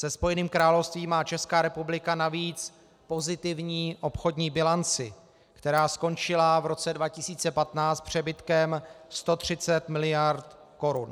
Se Spojeným královstvím má Česká republika navíc pozitivní obchodní bilanci, která skončila v roce 2015 přebytkem 130 miliard korun.